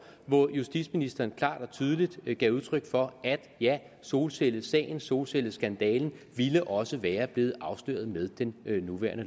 hvor justitsministeren klart og tydeligt gav udtryk for at ja solcellesagen solcelleskandalen ville også være blevet afsløret med den nye